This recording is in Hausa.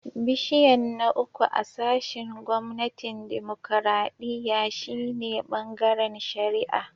Bishiyan na uku a sashin gwamnatin dimokuradiyya shine "Bangaren shari'a."